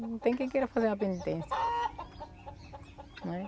Não tem quem queira fazer uma penitência, né?